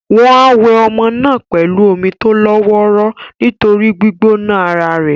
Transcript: Wọ́n á wẹ ọmọ náà pẹ̀lú omi tó lọ́ wọ́ró nítorí gbígbóná ara è.